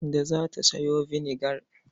Kande za ta sayo vinegar.